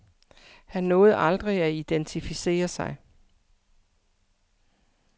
Han nåede aldrig at identificere sig.